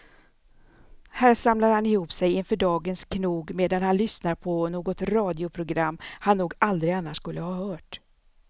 Här samlar han ihop sig inför dagens knog medan han lyssnar på något radioprogram han nog aldrig annars skulle ha hört.